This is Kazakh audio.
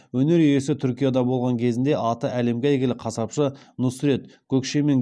өнер иесі түркияда болған кезінде аты әлемге әйгілі қасапшы нұсрет гөкшемен